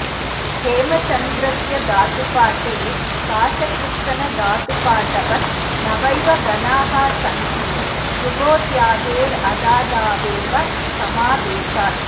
हेमचन्द्रस्य धातुपाठे काशकृत्स्नधातुपाठवत नवैव गणाः सन्ति जुहोत्यादेरदादावेव समावेशात्